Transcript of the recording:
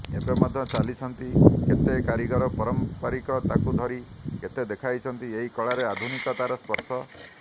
ଏବେ ମଧ୍ୟ ଚାଲିଛନ୍ତି କେତେ କାରିଗର ପାରମ୍ପରିକ ତାକୁ ଧରି କେତେକ ଦେଇଛନ୍ତି ଏଇ କଳାରେ ଆଧୁନିକତାର ସ୍ପର୍ଶ